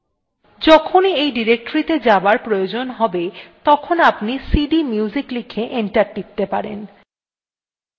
যখনই এই ডিরেক্টরীটি তে যাবার প্রয়োজন হবে তখনি আপনি cdmusic লিখে enter টিপতে পারেন